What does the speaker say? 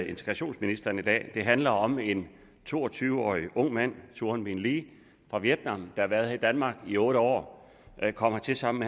integrationsministeren i dag det handler om en to og tyve årig ung mand toan minh le fra vietnam der har været her i danmark i otte år han kom hertil sammen